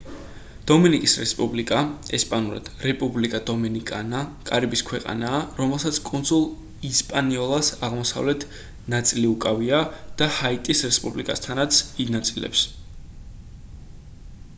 დომინიკის რესპუბლიკა ესპანურად: república dominicana კარიბის ქვეყანაა რომელსაც კუნძულ ისპანიოლას აღმოსავლეთ ნაწილიუკავია და ჰაიტის რესპუბლიკასთან ინაწილებს